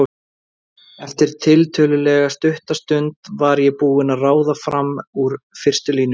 Eftir tiltölulega stutta stund var ég búin að ráða fram úr fyrstu línunni.